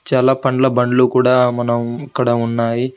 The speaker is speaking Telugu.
చాలా పండ్ల బండ్లు కూడా మనం ఇక్కడ ఉన్నాయి.